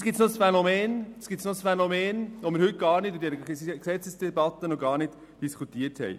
Es gibt noch ein Phänomen, das wir in dieser Debatte noch gar nicht diskutiert haben: